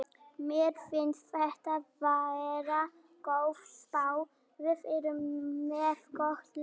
Mér finnst þetta vera góð spá, við erum með gott lið.